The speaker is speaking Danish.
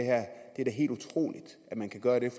er da helt utroligt at man kan gøre det